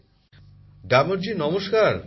প্রধানমন্ত্রী জীঃ গ্যামরজী নমস্কার